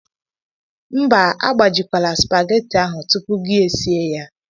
Mba, agbajikwala supageti ahụ tupu gi esie ya.